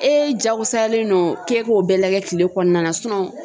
E jagosalen no k'e k'o bɛɛ lagɛ kile kɔnɔna na